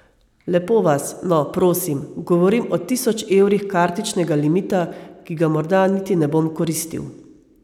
Lepo vas, no, prosim, govorim o tisoč evrih kartičnega limita, ki ga morda niti ne bom koristil...